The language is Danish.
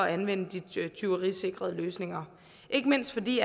anvende de tyverisikrede løsninger ikke mindst fordi